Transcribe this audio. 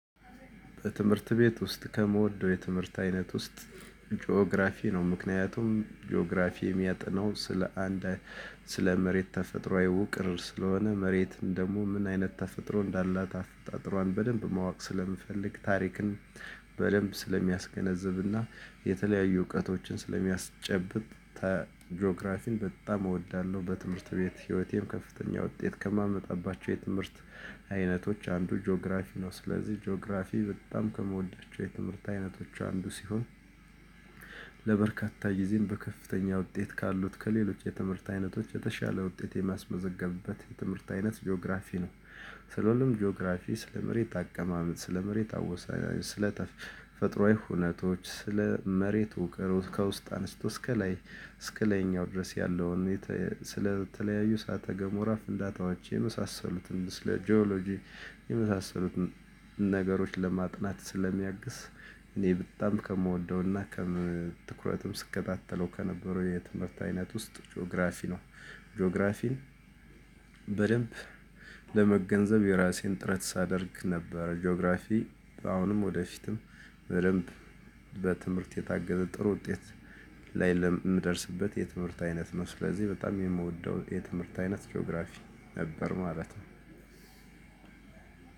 በትምህርት ቤት ውስጥ ከምወደው የትምህርት አይነት ውስጥ ጂኦግራፊ ነው። ምክንያቱም ጂኦግራፊ የሚያጠናው ስለ አንድ ስለ መሬት ተፈጥሮአዊ ውቅር ስለሆነ መሬት ደግሞ ምን አይነት ተፈጥሮ እንዳላት አፈጣጥሮን በደንብ ማወቅ ስለምፈልግ ታሪክን በደንብ ስለሚያስገነዝብና የተለያዩ እውቀቶችን ስለሚያስጨብጥ ዲዮግራፊን በጣም እወዳለሁ። በትምህርት ቤት ህይወቴም ከፍተኛ ውጤት ከማመጣባቸው የትምህርት አይነቶች አንዱ ጂኦግራፊ ነው። ስለዚህ ጂኦግራፊ በጣም ከምወዳቸው የትምህርት አይነቶች አንዱ ሲሆን ለበርካታ ጊዜም በከፍተኛ ውጤት ካሉት ከሌሎች የትምህርት አይነቶች የተሻለ ውጤት የማስመዘገብበት የትምህርት አይነት ጂኦግራፊ ነው። ስለሆነም ጂኦግራፊ ስለ መሬት አቀማመጥ ስለ መሬት አወሳይ ስለ ተፈጥሮአዊ ሁነቶች ስለ መሬቱ ውቅሩ ከውስጥ አንስቶ እስከ ላይ እስከ ላይኛው ድረስ ያለውን ስለተለያዩ ሳተገም ፍንዳታዋች የመሳሰሉትን ስለ ጂኦሎጂ የመሳሰሉትን ነገሮች ለማጥናት ስለሚያግስ እኔ በጣም ከምወደውና ከትኩረትም ስከታተለው ከነበሩ የትምህርት አይነት ውስጥ ጂኦግራፊ ነው። ጂኦግራፊን በደንብ ለመገንዘብ የራሴን ጥረት ሳደርግ ነበር። ጂኦግራፊ አሁንም ወደፊትም በደንብ በትምህርት የታገዘ ጥሩ ውጤት ላይ የምደርስበት የትምህርት አይነት ነው። ስለዚህ በጣም የምወደው የትምህርት አይነት ጂኦግራፊ ነበር ማለት ነው።